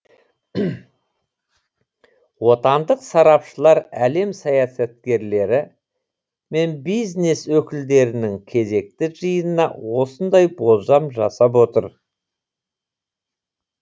отандық сарапшылар әлем саясаткерлері мен бизнес өкілдерінің кезекті жиынына осындай болжам жасап отыр